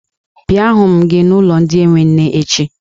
Bịa hụ m gị n'ụlọ ndị enwe nne echi!